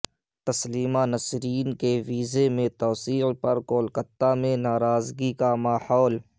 تسلیمہ نسرین کے ویزے میں توسیع پر کولکتہ میں ناراضگی کا ماحول